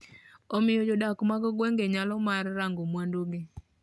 omiyo jodak mag gwenge nyalo mar rango mwandu gi